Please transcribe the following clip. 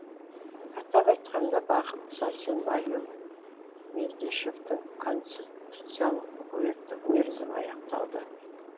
атап айтқанда бақыт сәрсенбайұлы мелдешовтің конституциялық өкілеттік мерзімі аяқталды